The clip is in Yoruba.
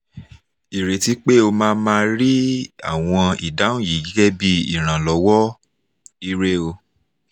ireti pe o ma ma ri awọn idahun yi gẹgẹbi iranlọwọ! ire o